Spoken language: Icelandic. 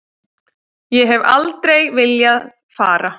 Ég hef aldrei viljað fara.